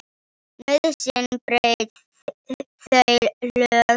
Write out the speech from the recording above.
Nauðsyn braut þau lög, herra.